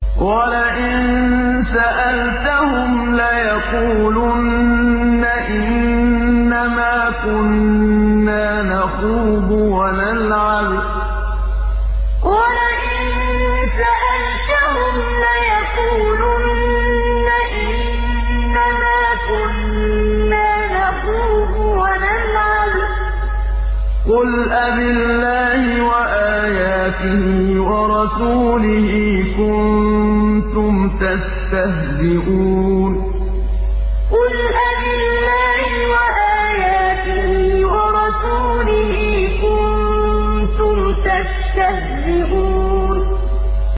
وَلَئِن سَأَلْتَهُمْ لَيَقُولُنَّ إِنَّمَا كُنَّا نَخُوضُ وَنَلْعَبُ ۚ قُلْ أَبِاللَّهِ وَآيَاتِهِ وَرَسُولِهِ كُنتُمْ تَسْتَهْزِئُونَ وَلَئِن سَأَلْتَهُمْ لَيَقُولُنَّ إِنَّمَا كُنَّا نَخُوضُ وَنَلْعَبُ ۚ قُلْ أَبِاللَّهِ وَآيَاتِهِ وَرَسُولِهِ كُنتُمْ تَسْتَهْزِئُونَ